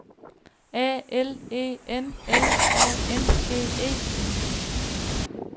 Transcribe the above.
A L E N L A N G E